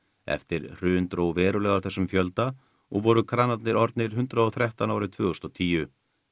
eftir hrun dró verulega úr þessum fjölda og voru kranarnir orðnir hundrað og þrettán árið tvö þúsund og tíu